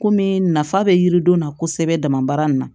Kɔmi nafa bɛ yiriden na kosɛbɛ damabaara in na